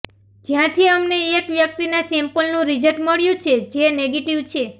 જ્યાંથી અમને એક વ્યક્તિના સેમ્પલનું રિઝલ્ટ મળ્યું છે જે નેગેટિવ છે